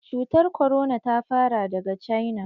Cutar korona ta fara daga cina.